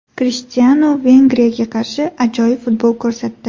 Krishtianu Vengriyaga qarshi ajoyib futbol ko‘rsatdi.